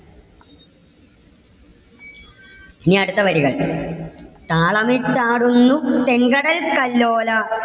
ഇനി അടുത്ത വരികൾ. താളമിട്ടാടുന്നു ചെങ്കടൽ കല്ലോല.